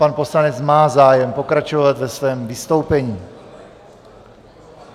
Pan poslanec má zájem pokračovat ve svém vystoupení.